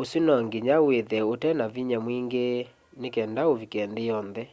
usu no nginya withe utena vinya mwingi ni kenda uvike nthi yonthe